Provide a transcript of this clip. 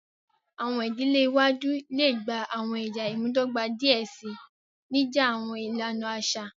Awọn idile iwaju le gba awọn ẹya imudọgba diẹ sii, nija awọn ilana aṣa.